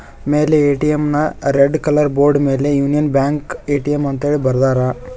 ಮೇಲೆ ಎ_ಟಿ_ಎಂ ನ red colour board ಮೇಲೆ ಯೂನಿಯನ್ ಬ್ಯಾಂಕ್ ಎ_ಟಿ_ಎಂ ಅಂತ್ ಹೇಳಿ ಬರದಾರ.